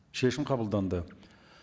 шешім қабылданды